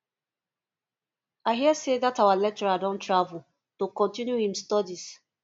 i hear say dat our lecturer don travel to continue im studies